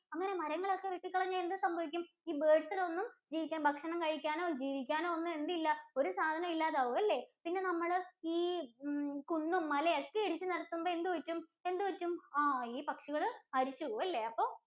അങ്ങനെ നമ്മൾ മരങ്ങൾ ഒക്കെ വെട്ടി കളഞ്ഞാൽ എന്ത് സംഭവിക്കും ഈ birds നെ ഒന്നും ജീവിക്കാൻ ഭക്ഷണം കഴിക്കാനും ജീവിക്കാനും ഒന്നും എന്തില്ല? ഒരു സാധനം ഇല്ലാതാവും. അല്ലേ? പിന്നെ നമ്മള് ഈ കുന്നും മലയും ഒക്കെ ഇടിച്ച് നിരത്തുമ്പോ എന്ത് പറ്റും? എന്ത് പറ്റും? ആഹ് ഈ പക്ഷികൾ മരിച്ച് പോവും അല്ലേ.